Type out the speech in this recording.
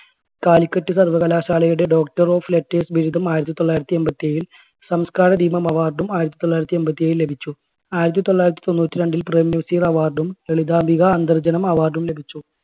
കാലിക്കറ്റ് സർവ്വകലാശാലയുടെ doctor of letters ബിരുദം ആയിരത്തി തൊള്ളായിരത്തി എൺപത്തി ഏഴിൽ, സംസ്കാരദീപം award ഉം ആയിരത്തി തൊള്ളായിരത്തി എൺപത്തി ഏഴിൽ ലഭിച്ചു. ആയിരത്തി തൊള്ളായിരത്തി തൊണ്ണൂറ്റി രണ്ടിൽ പ്രേംനസീർ award ഉം, ലളിതാംബിക അന്തർജ്ജനം award ഉം ലഭിച്ചു.